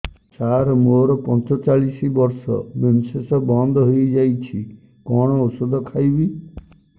ସାର ମୋର ପଞ୍ଚଚାଳିଶି ବର୍ଷ ମେନ୍ସେସ ବନ୍ଦ ହେଇଯାଇଛି କଣ ଓଷଦ ଖାଇବି